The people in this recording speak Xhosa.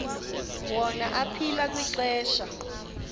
wona aphila kwixesha